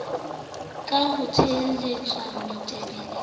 ka ho re tselatshweu matebele